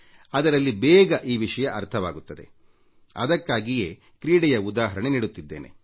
ನಾನು ನಿಮಗೆ ಕ್ರೀಡಾ ಕ್ಷೇತ್ರದ ಒಂದು ಉದಾಹರಣೆ ನೀಡುತ್ತೇನೆ